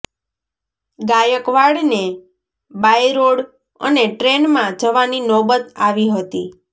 ગાયકવાડને by road અને ટ્રેનમાં જવાની નોબત આવી હતી